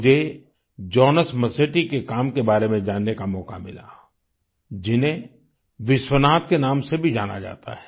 मुझे Jonas Masetti के काम के बारे में जानने का मौका मिला जिन्हें विश्वनाथ के नाम से भी जाना जाता है